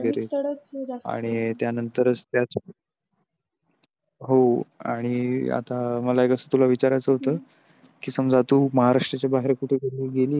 आणि त्यानंतरच त्याच हो आणि आता मला एक अस तुला विचारायचं होत कि समजा तु महाराष्ट्रच्या बाहेर कुठे गेलेली आहे?